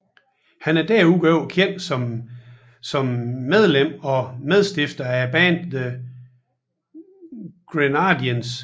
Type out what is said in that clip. Han er desuden kendt som medlem og medstifter af bandet The Grenadines